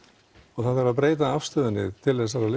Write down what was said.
og það þarf að breyta afstöðunni til þessara